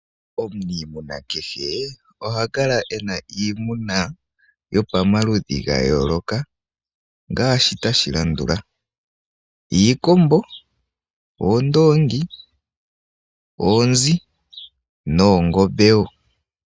Omuniimuna kehe oha kala ena iimuna yopamaludhi ga yooloka ngaashi tashi landula: iikombo, oondoongi, oonzi noongombe wo.